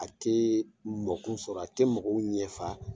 A tɛ mɔgɔw sɔrɔ a tɛ mɔgɔw ɲɛ fa.